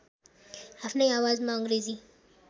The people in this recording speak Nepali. आफ्नै आवाजमा अङ्ग्रेजी